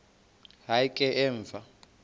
hayi ke emva